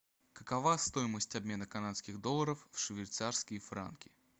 какова стоимость обмена канадских долларов в швейцарские франки